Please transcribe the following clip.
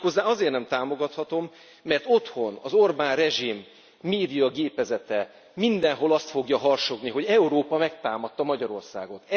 Méghozzá azért nem támogathatom, mert otthon az Orbán rezsim médiagépezete mindenhol azt fogja harsogni, hogy Európa megtámadta Magyarországot.